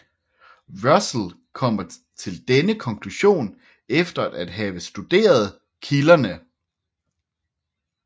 Russell kommer til denne konklusion efter at have studeret kilderne